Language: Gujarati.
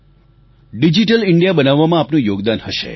ડિજીટલ ઈન્ડિયા બનાવવામાં આપનું યોગદાન હશે